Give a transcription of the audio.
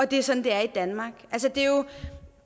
det er sådan det er i danmark